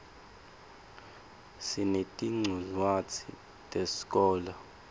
sinetincuadzi teszkolo